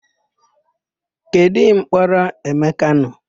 Kedụ ụlọmkpọrọ Emeka nọ?